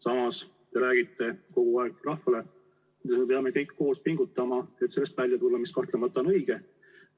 Samas te räägite kogu aeg rahvale, et me peame kõik koos pingutama, et sellest välja tulla, mis kahtlemata on õige.